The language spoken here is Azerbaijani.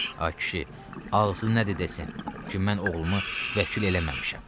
Ay kişi, ağzı nədi desin ki, mən oğlumu vəkil eləməmişəm?